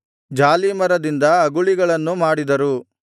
ಜಾಲೀಮರದಿಂದ ಅಗುಳಿಗಳನ್ನು ಮಾಡಿದರು